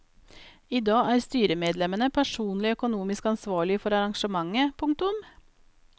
I dag er styremedlemmene personlig økonomisk ansvarlige for arrangementet. punktum